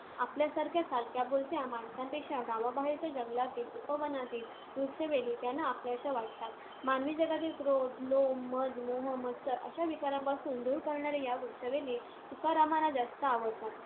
आपल्यासारख्या चालत्या-बोलत्या माणसांपेक्षा गावाबाहेरच्या जंगलातील, उपवनातील वृक्ष-वेली त्यांना आपल्याशा वाटतात. मानवी जगातील क्रोध, लोभ, मद, मोह, मत्सर अशा विकारांपासून दूर असणाऱ्या या वृक्ष-वेली तुकारामांना जास्त आवडतात.